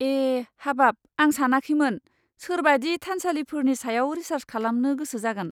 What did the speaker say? ए, हाबाब, आं सानाखैमोन सोरबादि थानसालिफोरनि सायाव रिसार्स खालामनो गोसो जागोन।